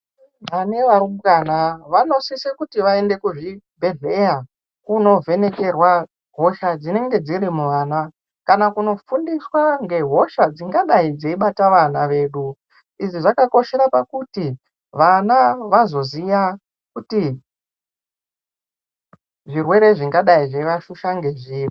Vane varumbwana vanosise kuti vaende kuzvibhedhleya kunovhenekerwa hosha dzinenge dziri muvana kana kunofundiswa ngehosha dzingadai dzeibata vana vedu. Izvi zvakakoshera pakuti vana veizoziva kuti zvirwere zvingadai zveivafusha ngezviri.